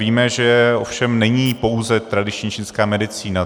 Víme, že ovšem není pouze tradiční čínská medicína.